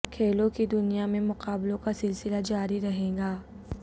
کھیلوں کی دنیا میں مقابلوں کا سلسلہ جاری رہے گا